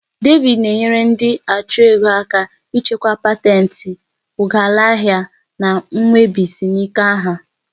David na-enyere ndị achụ ego aka ichekwa patentì, ụghalaahịa, na nwebisiinka ha.